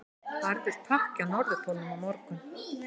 Harður pakki á Norðurpólnum á morgun